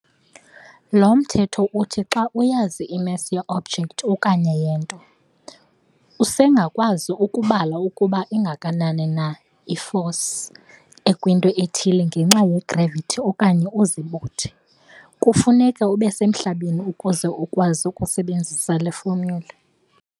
Lo mthetho uthi xa uyazi i-mass ye-object okanye yento, usengakwazi ukubala ukuba ingakanani na i-force ekwinto ethile ngenxa ye-gravity okanye uzibuthe. kufuneka ubesemhlabeni ukuze ukwazi ukusebenzisa le-formula.